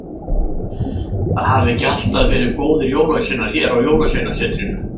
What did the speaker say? Það hafa ekki alltaf verið góðir jólasveinar hér á Jólasveinasetrinu.